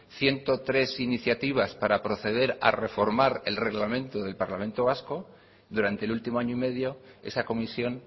ciento tres iniciativas para proceder a reformar el reglamento del parlamento vasco durante el último año y medio esa comisión